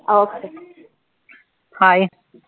Hi